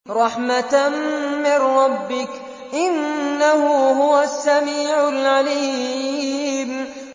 رَحْمَةً مِّن رَّبِّكَ ۚ إِنَّهُ هُوَ السَّمِيعُ الْعَلِيمُ